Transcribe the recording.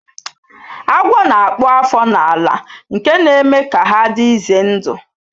Agwo na-akpụ afọ na-ala nke na-eme ka ha dị ize ndụ